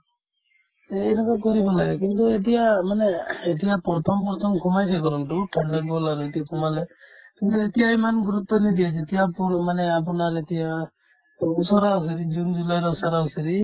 এনেকুৱা কৰিব লাগে কিন্তু এতিয়া মানে এতিয়া প্ৰথম প্ৰথম সোমাই গৰমতো সোমালে কিন্তু এতিয়া ইমান গুৰুত্ব নিদিয়ে যেতিয়া ক'ল মানে আপোনাৰ যেতিয়া ওচৰা-ওচৰি জুন-জুলাইৰ ওচৰা-ওচৰি